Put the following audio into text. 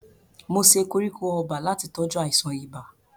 Mo se koríko ọba láti tọ́jú àìsàn ibà.